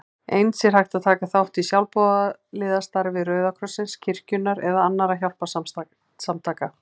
Eins er hægt að taka þátt í sjálfboðaliðastarfi Rauða krossins, kirkjunnar eða annarra hjálparsamtaka.